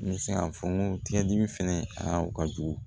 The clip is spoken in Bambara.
N bɛ se k'a fɔ n ko tigɛdimi fɛnɛ a ka jugu